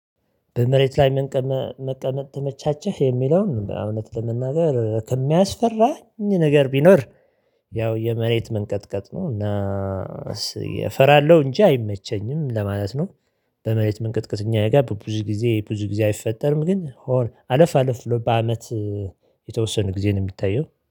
በመሬት ላይ መቀመጥ ተመቻችህ የሚለውን እውነት ለመናገር ከሚያስፈራኝ ነገር ቢኖር ያው የመሬት መንቀጥቀጥ ነው እና እስኪ እፈራለሁ እንጂ አይመቸኝም ለማለት ነው። በመሬት መንቀጥቀጥ እኛ ጋር ብዙ ጊዜ ብዙ ጊዜ አይፈጠርም። ግን አለፍ አለፍ ብሎ በአመት የተወሰነ ጊዜ ነው የሚታየው።